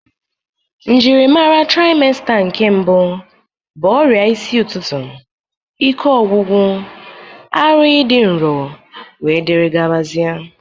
Njiri mara traịmsta nke mbụ bụ ọrịa isi ụtụtụ, ike ọgwụgwụ, ara ịdị nrọ wdg.